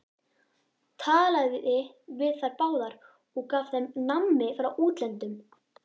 Talaði við þær báðar og gaf þeim nammi frá útlöndum!